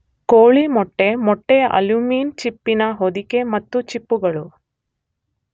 ಕೋಳಿ ಮೊಟ್ಟೆ, ಮೊಟ್ಟೆಯ ಆಲ್ಬ್ಯೂಮಿನ್ ಚಿಪ್ಪಿನ ಹೊದಿಕೆ ಮತ್ತು ಚಿಪ್ಪುಗಳು.